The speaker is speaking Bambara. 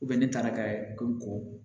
ne taara ka ko ko